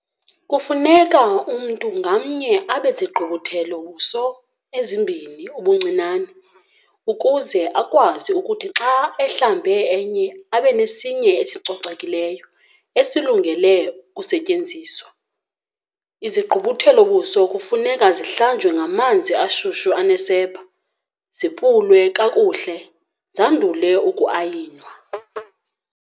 Kufuneka umntu ngamnye abe zigqubuthelo-buso ezimbini ubuncinane ukuze akwazi ukuthi xa ehlambe enye, abe nesinye ecocekileyo esilungele ukusetyenziswa. Izigqubuthelo-buso kufuneka zihlanjwe ngamanzi ashushu anesepha, zipulwe kakuhle zandule uku-ayinwa.